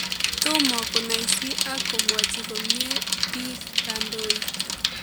Tomo konaisi ak komwachi komye biik kandoiik